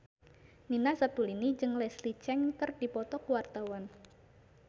Nina Zatulini jeung Leslie Cheung keur dipoto ku wartawan